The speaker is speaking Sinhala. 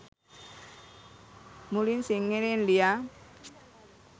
මුලින් සිංහලෙන් ලියා